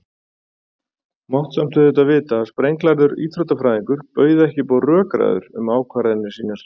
Mátti samt auðvitað vita að sprenglærður íþróttafræðingur bauð ekki upp á rökræður um ákvarðanir sínar.